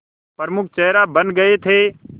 प्रमुख चेहरा बन गए थे